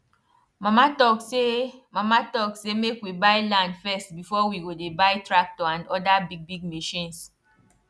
mama talk say mama talk say make we buy land first before we go dey buy tractor and other bigbig machines